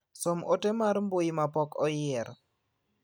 Som ote mar mbui ma pok oyier.